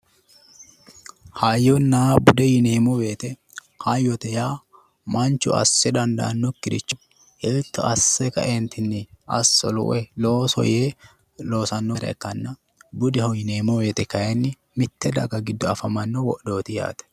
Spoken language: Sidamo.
hayyonna bude yineemmo woyte, hayyote yaa manchu assa dandaannokkiricho hiitto assa kaeentinni asso woy looso yee loosannore ikkanna, budeho yineemmo woyte kayiinni mitte daga giddo afamanno wodhooti yaate.